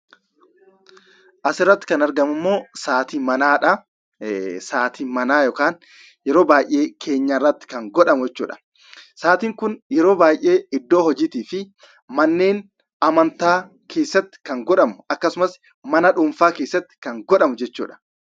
Asirratti kan argamu immoo, Saatii manaadha. Saatiin manaa yeroo baayyee keenyaa irratti kan godhamu jechuudha. Saatiin Kun yeroo baayyee iddoo hojii fi manneen amantaa keessatti kan godhamu akkasumas mana dhuunfaa keessatti kan godhamu jechuudha.